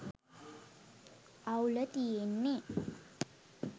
අවුල තියෙන්නෙ